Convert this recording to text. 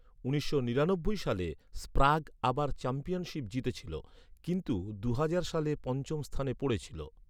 উনিশশো নিরানব্বই সালে, স্প্রাগ আবার চ্যাম্পিয়নশিপ জিতেছিল। কিন্তু দুহাজার সালে পঞ্চম স্থানে পড়েছিল।